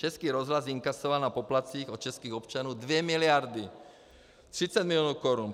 Český rozhlas inkasoval na poplatcích od českých občanů 2 miliardy 30 milionů korun.